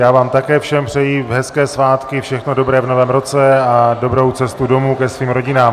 Já vám také všem přeji hezké svátky, všechno dobré v novém roce a dobrou cestu domů ke svým rodinám.